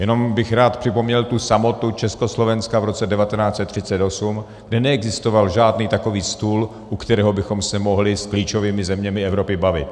Jenom bych rád připomněl tu samotu Československa v roce 1938, kdy neexistoval žádný takový stůl, u kterého bychom se mohli s klíčovými zeměmi Evropy bavit.